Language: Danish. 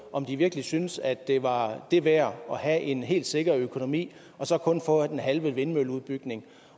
om de virkelig synes at det var det værd at have en helt sikker økonomi og så kun få den halve vindmølleudbygning